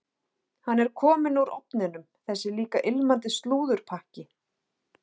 Hann er kominn úr ofninum, þessi líka ilmandi slúðurpakki.